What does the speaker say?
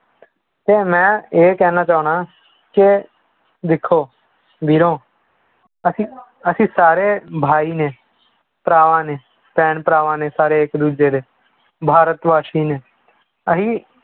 ਤੇ ਮੈਂ ਇਹ ਕਹਿਣਾ ਚਾਹੁਨਾ ਕਿ ਦੇਖੋ ਵੀਰੋ ਅਸੀਂ ਅਸੀਂ ਸਾਰੇ ਭਾਈ ਨੇ ਭਰਾ ਨੇ ਭੈਣ ਭਰਾ ਨੇ ਸਾਰੇ ਇੱਕ ਦੂਜੇ ਦੇ, ਭਾਰਤ ਵਾਸੀ ਨੇ, ਅਸੀਂ